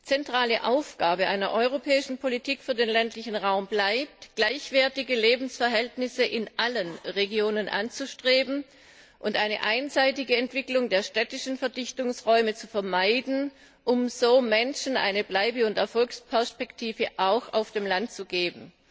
Zentrale Aufgabe einer europäischen Politik für den ländlichen Raum bleibt es, gleichwertige Lebensverhältnisse in allen Regionen anzustreben und eine einseitige Entwicklung der städtischen Verdichtungsräume zu vermeiden, um so auch Menschen auf dem Land eine Bleibe und Erfolgsperspektive zu geben.